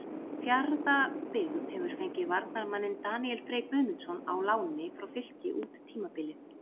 Fjarðabyggð hefur fengið varnarmanninn Daníel Frey Guðmundsson á láni frá Fylki út tímabilið.